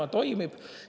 See toimib.